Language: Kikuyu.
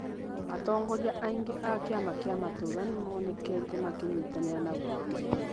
Atongoria aingĩ a kĩama kĩa matũũra nĩ monekete makinyitanĩra na ungumania